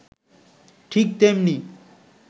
ঠিক তেমনি